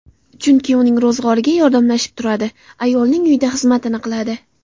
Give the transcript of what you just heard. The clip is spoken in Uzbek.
Chunki uning ro‘zg‘origa yordamlashib turadi, ayolning uyida xizmatini qiladi.